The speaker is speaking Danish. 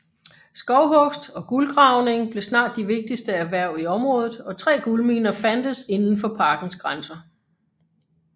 Skovhugst og guldgravning blev snart de vigtigste erhverv i området og tre guldminer fandtes inden for parkens grænser